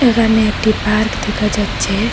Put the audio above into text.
এখানে একটি পার্ক দেখা যাচ্ছে।